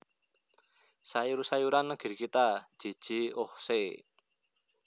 Sayur Sayuran Negeri Kita J J Ochse